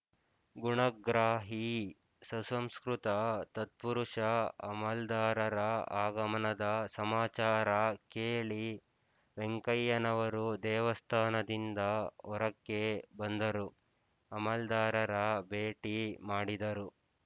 ಗುಣಗ್ರಾಹಿ ಸುಸಂಸ್ಕೃತ ತತ್ಪುರುಷ ಅಮಲ್ದಾರರ ಆಗಮನದ ಸಮಾಚಾರ ಕೇಳಿ ವೆಂಕಯ್ಯನವರು ದೇವಸ್ಥಾನದಿಂದ ಹೊರಕ್ಕೆ ಬಂದರು ಅಮಲ್ದಾರರ ಭೇಟಿ ಮಾಡಿದರು